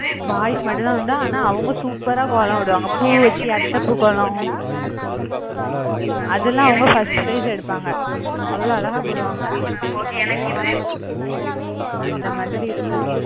boys மட்டும்தான் உண்டு ஆனா அவங்க super ஆ கோலம் போடுவாங்க. பூ வச்சி அத்தப்பூ கோலம் அதெல்லாம் அவங்க first prize எடுப்பாங்க. அவ்வளவு அழகா போடுவாங்க. அந்த மாதிரி இருக்கும்.